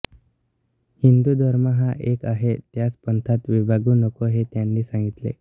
हिंदु धर्म हा एक आहे त्यास पंथात विभागू नका हे त्यांनी सांगितले